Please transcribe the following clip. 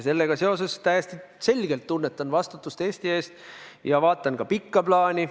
Sellega seoses ma täiesti selgelt tunnetan vastutust Eesti ees ja vaatan ka pikka plaani.